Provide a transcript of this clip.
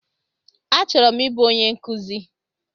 Achọrọ m ịbụ onye nkụzi